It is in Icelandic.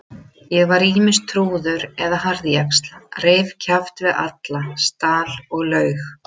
Ég var ýmist trúður eða harðjaxl, reif kjaft við alla, stal og laug.